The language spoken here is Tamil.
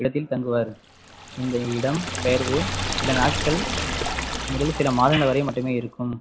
இடத்தில் தங்குவார் இந்த இடம்பெயர்வு சில நாட்கள் முதலில் சில மாதங்கள் வரை மட்டுமே இருக்கும்